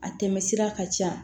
A tɛmɛsira ka ca